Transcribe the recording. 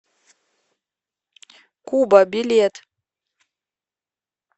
куба билет